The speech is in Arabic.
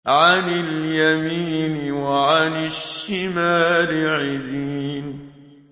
عَنِ الْيَمِينِ وَعَنِ الشِّمَالِ عِزِينَ